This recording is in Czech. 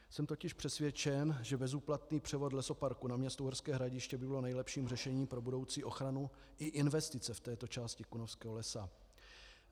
Jsem totiž přesvědčen, že bezúplatný převod lesoparku na město Uherské Hradiště by byl nejlepším řešením pro budoucí ochranu i investice v této části Kunovského lesa.